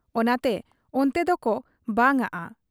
ᱚᱱᱟᱛᱮ ᱚᱱᱛᱮ ᱫᱚᱠᱚ ᱵᱟᱝᱟᱜ ᱟ ᱾